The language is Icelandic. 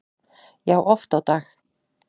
Já, oft á dag